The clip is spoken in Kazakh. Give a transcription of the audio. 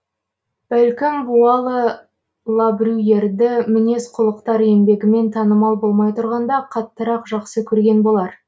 бәлкім буало лабрюйерді мінез құлықтар еңбегімен танымал болмай тұрғанда қаттырақ жақсы көрген болар